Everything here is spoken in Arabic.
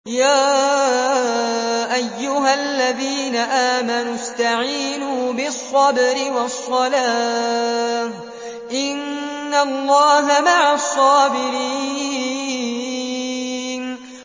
يَا أَيُّهَا الَّذِينَ آمَنُوا اسْتَعِينُوا بِالصَّبْرِ وَالصَّلَاةِ ۚ إِنَّ اللَّهَ مَعَ الصَّابِرِينَ